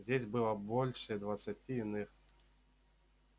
здесь было больше двадцати иных